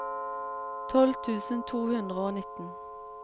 tolv tusen to hundre og nitten